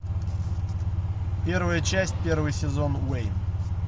первая часть первый сезон уэйн